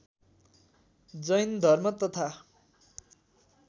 जैन धर्म तथा